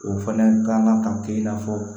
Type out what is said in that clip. O fana kan ka kɛ i n'a fɔ